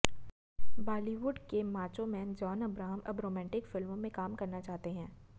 बॉलीवुड के macho man John Abraham अब romantic फिल्मों में काम करना चाहते हैं